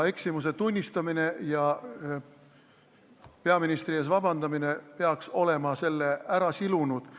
Eksimuse tunnistamine ja peaministri ees vabandamine peaks olema selle ära silunud.